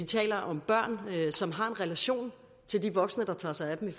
taler om børn som har en relation til de voksne der tager sig af dem i